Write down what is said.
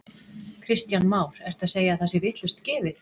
Kristján Már: Ertu að segja að það sé vitlaust gefið?